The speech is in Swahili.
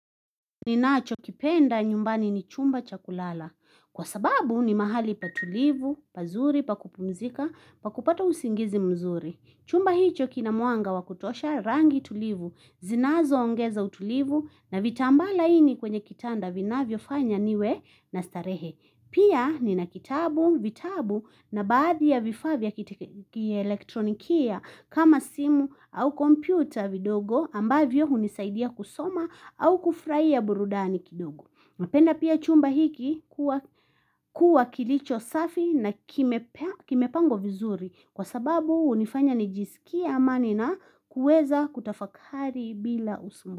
Ninacho kipenda nyumbani ni chumba chakulala. Kwa sababu ni mahali patulivu, pazuri, pakupumzika, pakupata usingizi mzuri. Chumba hicho kina muanga wakutosha rangi tulivu, zinazo ongeza utulivu na vitamba laini kwenye kitanda vinavyo fanya niwe na starehe. Pia ni na kitabu, vitabu na baadhi ya vifaa vya ki elektronikia kama simu au kompyuta vidogo ambavyo hunisaidia kusoma au kufraia burudani kidogo. Napenda pia chumba hiki kuwa kilicho safi na kimepangwa vizuri kwa sababu unifanya nijisikie ama nina kueza kutafakari bila usumbufu.